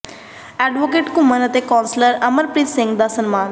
advocate Ghuman ਤੇ councillor Amarpreet Singh ਦਾ ਸਨਮਾਨ